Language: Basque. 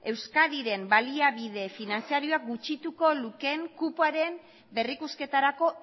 euskadiren baliabide finantziaroa gutxituko lukeen kupoaren berrikusketarako